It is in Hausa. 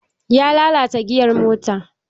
Ya lalata giyar mota